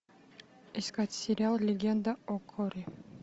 искать сериал легенда о корре